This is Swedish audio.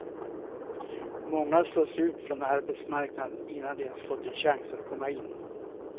Många slås ut från arbetsmarknaden innan de ens fått en chans att komma in.